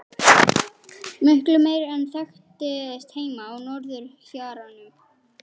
Miklu meiri en þekktist heima á norðurhjaranum.